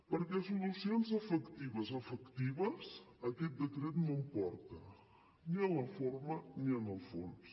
perquè solucions efectives efectives aquest decret no en porta ni en la forma ni en el fons